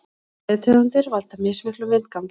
Fæðutegundir valda mismiklum vindgangi.